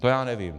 To já nevím.